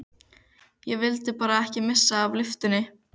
Ég vildi bara ekki missa af lyftunni!